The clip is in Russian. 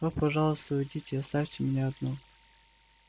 о пожалуйста уйдите оставьте меня одну